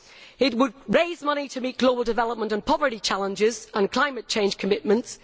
It would raise money to meet global development and poverty challenges and climate change commitments.